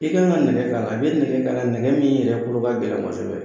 I kan ka nɛgɛ k'a la, i bɛ nɛgɛ k'a la , nɛgɛ min yɛrɛ kolo la gɛlɛn kosɛbɛ.